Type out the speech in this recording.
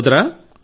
సోదరా